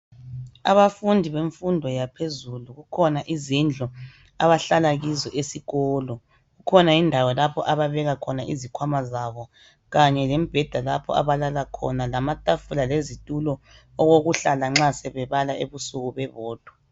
Abafundi bemfundo yaphezulu kukhona izindlu abahlala kizo esikolo. Kukhona indawo lapho ababeka khona izikhwama zabo kanye lembheda lapho abalala khona, lamatafula lezitulo okokuhlala nxa sebebala ebusuku bebodwa.